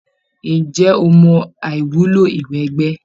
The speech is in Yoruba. Ǹjẹ́ o mọ àìwúlò ìwẹgbẹ́?